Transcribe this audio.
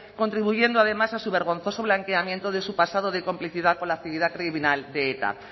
contribuyendo además a su vergonzoso blanqueamiento de su pasado de complicidad con la actividad criminal de eta